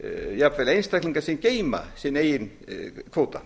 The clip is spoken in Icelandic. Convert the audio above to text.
jafnvel einstaklingar sem geyma sinn eigin kvóta